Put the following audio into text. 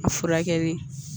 A furakɛli